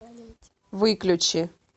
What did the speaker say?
выключи